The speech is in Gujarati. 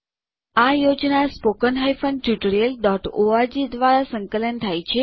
આ પ્રોજેક્ટ httpspoken tutorialorg દ્વારા સંકલન થાય છે